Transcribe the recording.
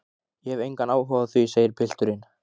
Ég hef engan áhuga á því, segir pilturinn.